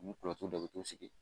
U b'u don u bɛ t'u sigi.